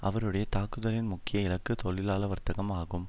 அவருடைய தாக்குதலின் முக்கிய இலக்கு தொழிலாள வர்த்தகம் ஆகும்